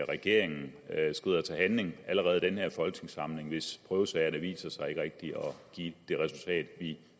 regeringen skrider til handling allerede i den her folketingssamling hvis prøvesagerne viser sig ikke rigtigt at give det resultat vi